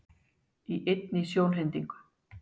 Í einni sjónhendingu